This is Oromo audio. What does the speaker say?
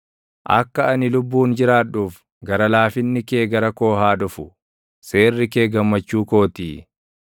Akka ani lubbuun jiraadhuuf gara laafinni kee gara koo haa dhufu; seerri kee gammachuu kootii.